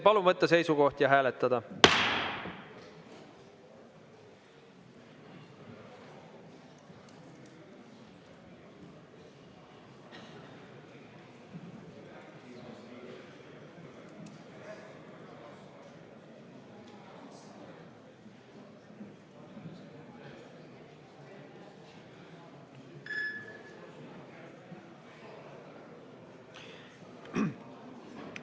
Palun võtta seisukoht ja hääletada!